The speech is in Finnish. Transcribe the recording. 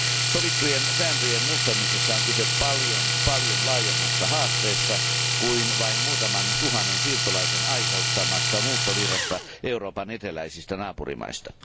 Sovittujen sääntöjen muuttamisessa on kyse paljon laajemmasta haasteesta kuin vain muutaman tuhannen siirtolaisen aiheuttamasta muuttovirrasta Euroopan eteläisistä naapurimaista.